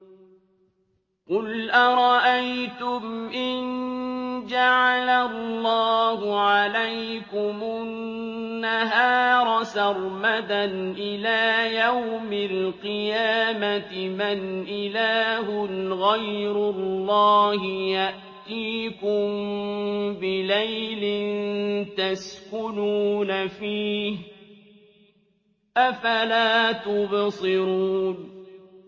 قُلْ أَرَأَيْتُمْ إِن جَعَلَ اللَّهُ عَلَيْكُمُ النَّهَارَ سَرْمَدًا إِلَىٰ يَوْمِ الْقِيَامَةِ مَنْ إِلَٰهٌ غَيْرُ اللَّهِ يَأْتِيكُم بِلَيْلٍ تَسْكُنُونَ فِيهِ ۖ أَفَلَا تُبْصِرُونَ